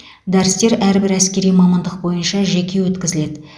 дәрістер әрбір әскери мамандық бойынша жеке өткізіледі